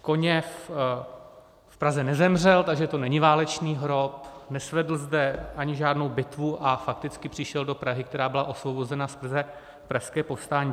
Koněv v Praze nezemřel, takže to není válečný hrob, nesvedl zde ani žádnou bitvu a fakticky přišel do Prahy, která byla osvobozena skrze Pražské povstání.